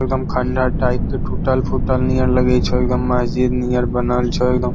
एगदम खंडर टाइप के टूटल-फूटल नियर लगै छो एगदम महजिद नियर बनल छो एगदम ।